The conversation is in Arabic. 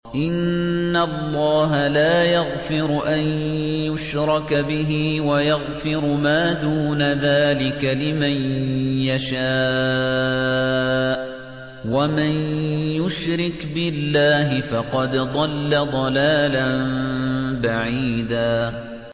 إِنَّ اللَّهَ لَا يَغْفِرُ أَن يُشْرَكَ بِهِ وَيَغْفِرُ مَا دُونَ ذَٰلِكَ لِمَن يَشَاءُ ۚ وَمَن يُشْرِكْ بِاللَّهِ فَقَدْ ضَلَّ ضَلَالًا بَعِيدًا